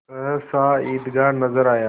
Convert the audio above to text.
सहसा ईदगाह नजर आया